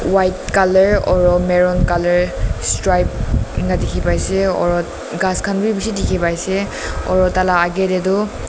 white colour oro maroon colour striped ena dikhi pai ase oro ghas khan bi bishi dikhi pai ase oro taila age te toh.